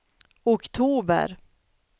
oktober